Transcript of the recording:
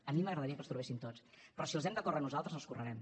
a mi m’agradaria que els trobessin tots però si els hem de córrer nosaltres els correrem